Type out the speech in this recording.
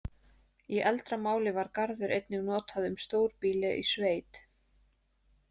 Í eldra máli var garður einnig notað um stórbýli í sveit.